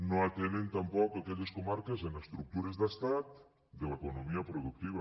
no atenen tampoc aquelles comarques en estructures d’estat de l’economia productiva